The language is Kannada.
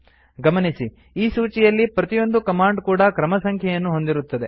ಗಮನಿಸಿ ಈ ಸೂಚಿಯಲ್ಲಿ ಪ್ರತಿಯೊಂದು ಕಮಾಂಡ್ ಕೂಡಾ ಕ್ರಮಸಂಖ್ಯೆಯನ್ನು ಹೊಂದಿರುತ್ತದೆ